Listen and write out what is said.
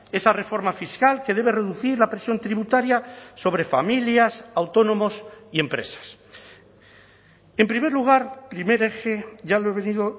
esa reforma fiscal que debe reducir la presión tributaria sobre familias autónomos y empresas en primer lugar primer eje ya lo he venido